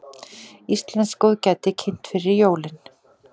Íslenskt góðgæti kynnt fyrir jólin